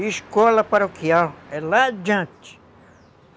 E Escola Paroquial, é lá adiante.